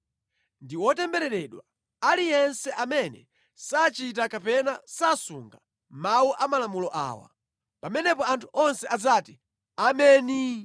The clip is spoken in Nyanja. “Ndi wotembereredwa aliyense amene sachita kapena sasunga mawu a malamulo awa.” Pamenepo anthu onse adzati, “Ameni!”